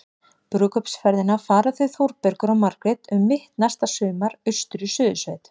Brúðkaupsferðina fara þau Þórbergur og Margrét um mitt næsta sumar- austur í Suðursveit.